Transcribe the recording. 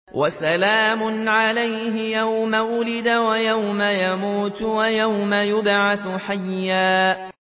وَسَلَامٌ عَلَيْهِ يَوْمَ وُلِدَ وَيَوْمَ يَمُوتُ وَيَوْمَ يُبْعَثُ حَيًّا